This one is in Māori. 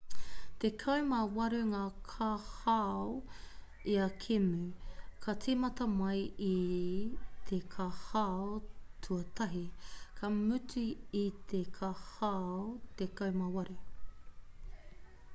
tekau mā waru ngā kōhao ia kēmu ka tīmata mai i te kōhao tuatahi ka mutu i te kōhao tekau mā waru